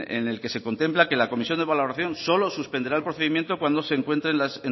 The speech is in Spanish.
en el que se contempla que la comisión de valoración solo suspenderá el procedimiento cuando se encuentre